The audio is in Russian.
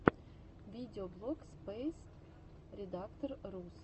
видеоблог спэйспредатор рус